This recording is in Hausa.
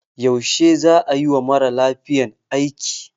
Yaushe za a yi wa mara lafiyan aiki?